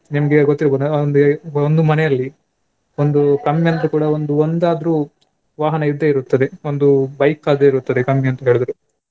ನಿಮ್ಗೆ ಗೊತ್ತಿರ್ಬೋದು ಅಂದ್ರೆ ಒಂದು ಮನೆಯಲ್ಲಿ ಒಂದು ಕಮ್ಮಿ ಅಂದ್ರು ಕೂಡ ಒಂದು ಒಂದಾದ್ರು ವಾಹನ ಇದ್ದೇ ಇರುತ್ತದೆ ಒಂದು bike ಆದ್ರೂ ಇರುತ್ತದೆ ಕಮ್ಮಿ ಅಂತ್ ಹೇಳಿದ್ರೆ.